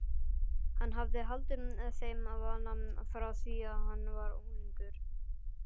Hann hafði haldið þeim vana frá því hann var unglingur.